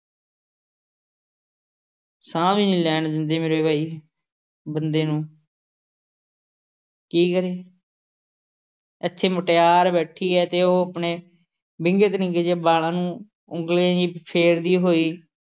ਸਾਹ ਵੀ ਨਹੀਂ ਲੈਣ ਦਿੰਦੇ ਮੇਰੇ ਵੈਰੀ। ਬੰਦੇ ਨੂੰ ਕੀ ਕਰੇ, ਇੱਥੇ ਮੁਟਿਆਰ ਬੈਠੀ ਹੈ ਅਤੇ ਉਹ ਆਪਣੇ ਵਿੰਗੇ ਤੜਿੰਗੇ ਜਿਹੇ ਵਾਲਾਂ ਨੂੰ ਉਂਗਲੀਆਂ ਜਿਹੀਆਂ ਫੇਰਦੀ ਹੋਈ